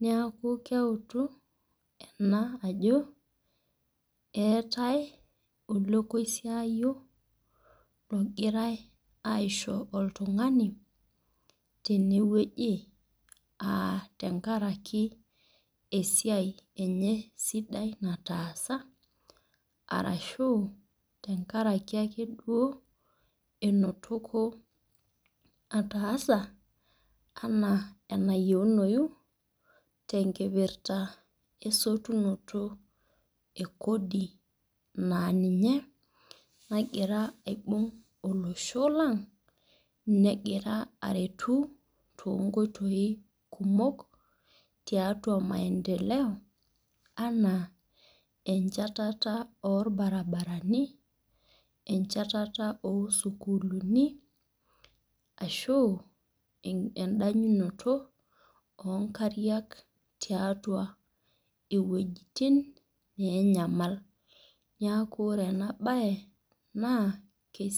neeku keutu ena ajo eetae. olekoisiayio logirae aisho oltungani tene wueji aa tenkaraki esiai enye sidai nataasa. arashu tenkaraki ake duo enotoko ataasa anaa enayieunoyu te nkipirta esotunoto e Kodi naa ninye nagira aibung' olosho lang negirae aretu too nkoitoi kumok tiatua maendeleo anaa enchatata ol aribarani. enchatata osukuuluni. ashi edanyunoto oo nkariak tiatua iwuejitin neenyamaliki. neeku ore ena bae naa kisidai oleng